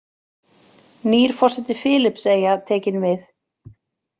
Nýr forseti Filippseyja tekinn við